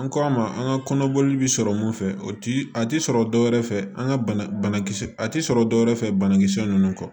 An k'a ma an ka kɔnɔboli bi sɔrɔ mun fɛ a ti sɔrɔ dɔwɛrɛ fɛ an ka banakisɛ a ti sɔrɔ dɔwɛrɛ fɛ banakisɛ nunnu kɔ